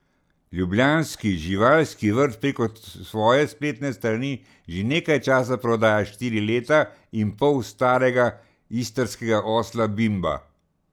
Ljubljanski živalski vrt preko svoje spletne strani že nekaj časa prodaja štiri leta in pol starega istrskega osla Bimba.